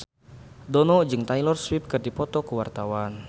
Dono jeung Taylor Swift keur dipoto ku wartawan